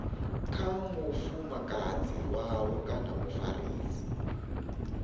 kha mufumakadzi wavho kana mufarisi